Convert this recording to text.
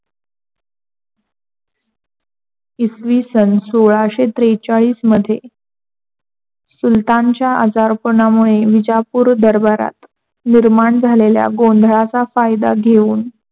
इसवी सन सोलाशे त्रेचाळीस मध्ये सुलातांच्या आजारपणामुळे विजापूर दरबारात निर्माण झालेल्या गोधाळाचा फायदा घेऊन